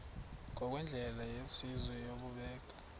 ngokwendlela yesizwe yokubeka